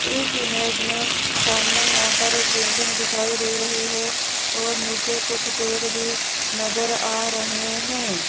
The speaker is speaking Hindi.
इस इमेज में सामने यहां पर एक बिल्डिंग दिखाई दे रही है और नीचे कुछ पेड़ भी नजर आ रहे हैं।